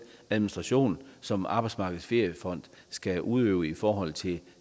administration som arbejdsmarkedets feriefond skal udøve i forhold til